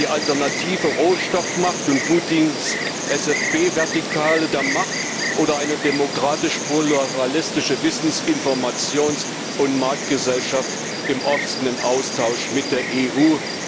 Es geht um die alternative Rohstoffmacht und Putins FSB Vertikale der Macht oder eine demokratisch pluralistische Wissens Informations und Marktgesellschaft im offenen Austausch mit der EU.